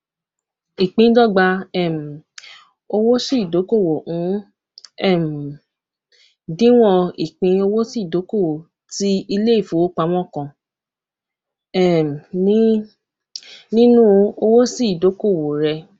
ìpíndọgba um owósíìdókòwò ń um díwọn ìpín owósíìdókòwò tí iléìfowópamọ kan um ní nínú owósíìdókòwò rẹ